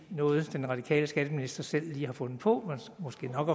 noget den radikale skatteminister selv lige har fundet på og måske nok